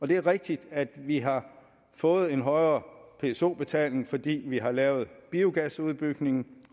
det er rigtigt at vi har fået en højere pso betaling fordi vi har lavet biogasudbygning